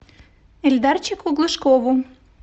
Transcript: эльдарчику глушкову